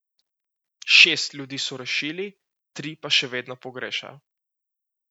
Šest ljudi so rešili, tri pa še vedno pogrešajo.